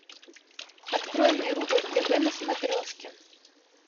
открой мне рубль тв на смотрешке